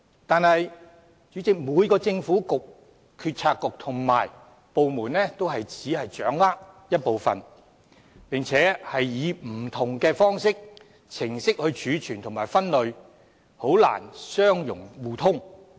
然而，主席，每個政策局和部門均只掌握一部分數據，並且以不同的方式或程序來儲存和分類，難以相容互通。